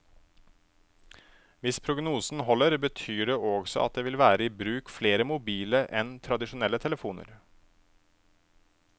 Hvis prognosen holder, betyr det også at det vil være i bruk flere mobile enn tradisjonelle telefoner.